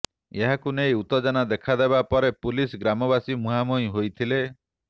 ଏହାକୁ ନେଇ ଉତ୍ତେଜନା ଦେଖା ଦେବା ପରେ ପୁଲିସ୍ ଗ୍ରାମବାସୀ ମୁହାଁମୁହିଁ ହୋଇଥିଲେ